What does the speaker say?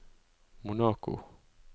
Monaco